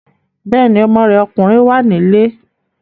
Bẹ́ẹ̀ni, ọmọ rẹ̀ ọkùnrin wà nílé